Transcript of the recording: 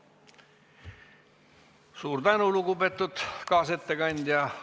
Suur tänu, lugupeetud kaasettekandja!